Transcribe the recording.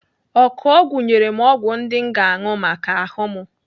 Ọkụọgwụ nyere m ọgwụ ndị m ga-anụ maka ahụ m.